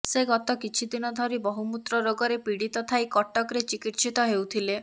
ସେ ଗତ କିଛିଦିନ ଧରି ବହୁମୁତ୍ର ରୋଗରେ ପିଡୀତ ଥାଇ କଟକରେ ଚିକିତ୍ସିତ ହେଉଥିଲେ